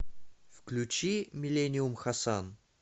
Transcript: включи миллениум хасан